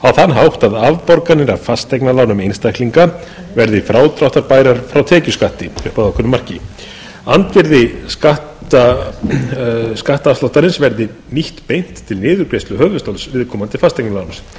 hátt að afborganir af fasteignalánum einstaklinga verði frádráttarbærar frá tekjuskatti upp að ákveðnu marki andvirði skattafsláttarins verði nýtt beint til niðurgreiðslu höfuðstóls viðkomandi fasteignaláns